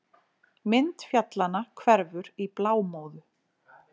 Mynd fjallanna hverfur í blámóðu.